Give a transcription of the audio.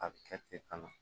A bɛ kɛ ten kan na